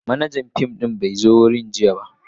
Manajan fim din bai zo wurin ba jiya.